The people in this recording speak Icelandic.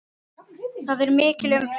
Þar er mikil umferð.